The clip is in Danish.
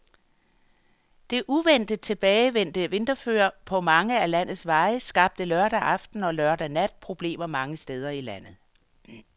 Det uventet tilbagevendte vinterføre på mange af landets veje skabte lørdag aften og lørdag nat problemer mange steder i landet.